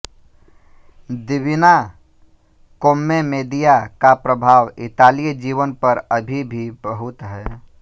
Divina Commedia का प्रभाव इतालीय जीवन पर अभी भी बहुत है